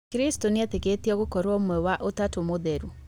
Kristo nĩetĩkĩtio gũkorwo ũmwe wa ũtatũ mũtheru